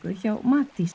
hjá Matís